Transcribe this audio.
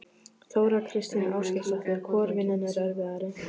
Þóra Kristín Ásgeirsdóttir: Hvor vinnan er erfiðari?